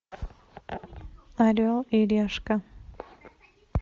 орел и решка